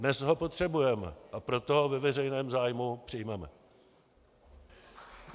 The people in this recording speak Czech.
Dnes ho potřebujeme, a proto ho ve veřejném zájmu přijmeme.